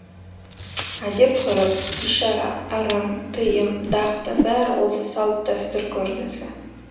әдет ғұрып ишара ырым тыйым дағды бәрі осы салт дәстүр көрінісі